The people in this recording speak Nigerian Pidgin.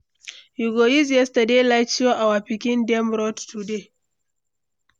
We go use yesterday light show our pikin dem road today.